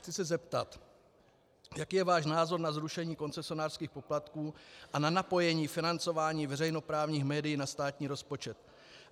Chci se zeptat: Jaký je váš názor na zrušení koncesionářských poplatků a na napojení financování veřejnoprávních médií na státní rozpočet?